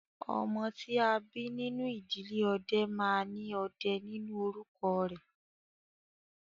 Ọmọ tí a bí nínú ìdílé ọdẹ máa ní "Ọdẹ" nínú orúkọ rẹ̀